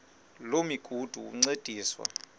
loo migudu encediswa